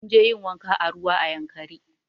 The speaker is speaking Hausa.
Munje yin wanka a ruwa a yankari